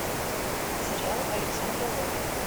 сериал александра роу